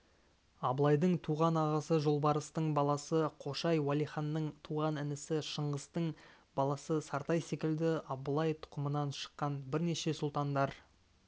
абылайдың туған ағасы жолбарыстың баласы қошай уәлиханның туған інісі шыңғыстың баласы сартай секілді абылай тұқымынан шыққан бірнеше сұлтандар